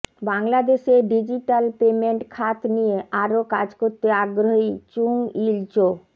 বাংলাদেশে digital payment খাত নিয়ে আরও কাজ করতে আগ্রহী চুং ইল চো